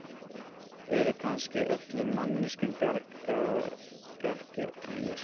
Eru kannski öllum manneskjum bjargir bannaðar, ekki aðeins mér?